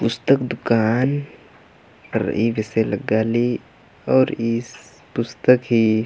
पुस्तक दुकान रइई बेसे लग्गा ली और ईस पुस्तक ही --